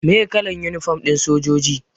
Meye kalan yunifom ɗin sojoji?